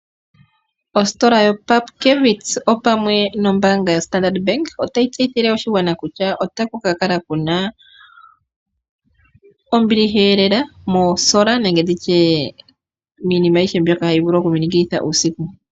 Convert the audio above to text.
Ositola yoPupkewitz opamwe nombaanga yoStandard bank otayi tseyithile oshigwana kutya otaku ka kala kuna ofanditha, ano ombiliha lela moolamba dholusheno lwoketango nenge tutye miinima ayihe yoku minikilitha uusiku.